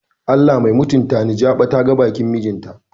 Allah mai mutantani jaɓa ta ga bakin mijin ta.